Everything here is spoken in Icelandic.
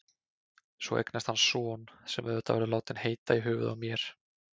Svo eignast hann son, sem auðvitað verður látinn heita í höfuðið á mér.